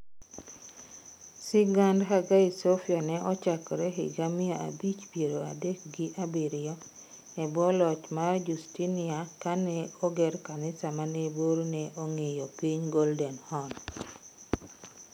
Sigand Hagia Sophia ne ochakore higa mia abich piero adek gi abirio e bwo loch mar Justinian kane oger kanisa mane bor ne ng'iyo piny Golden Horn.